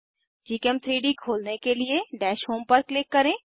gchem3डी खोलने के लिए डैश होम पर क्लिक करें